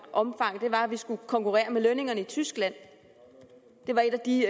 var at vi skulle konkurrere med lønningerne i tyskland det var et af de